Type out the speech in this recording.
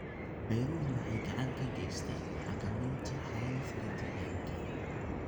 Beeruhu waxay gacan ka geystaan ??xakamaynta xaalufka deegaanka.